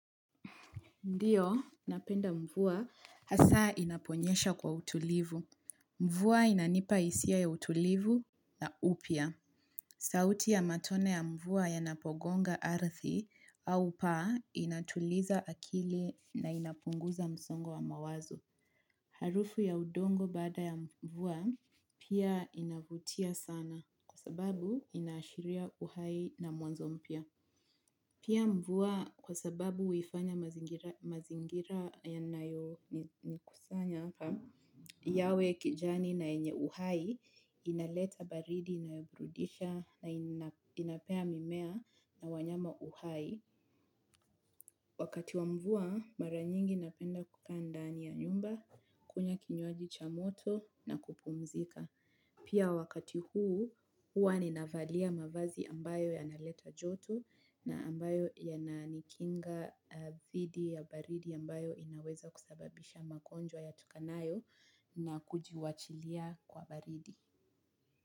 Ndio, napenda mvua hasa inaponyesha kwa utulivu. Mvua inanipa hisia ya utulivu na upya. Sauti ya matone ya mvua yanapogonga ardhi au paa inatuliza akili na inapunguza msongo wa mawazo. Harufu ya udongo baada ya mvua pia inavutia sana kwa sababu inaashiria uhai na mwanzo mpya. Pia mvua kwa sababu huifanya mazingira yanayonikusanya hapa yawe kijani na yenye uhai, inaleta baridi, inaburudisha na inapea mimea na wanyama uhai. Wakati wa mvua mara nyingi napenda kukaa ndani ya nyumba kunywa kinywaji cha moto na kupumzika. Pia wakati huu, huwa ninavalia mavazi ambayo yanaleta joto na ambayo yananikinga dhidi ya baridi ambayo inaweza kusababisha magonjwa yatokanayo na kujiwachilia kwa baridi.